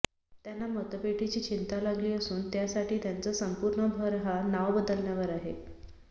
त्यांना मतपेटीची चिंता लागली असून त्यासाठी त्यांचा संपूर्ण भर हा नाव बदलण्यावर आहे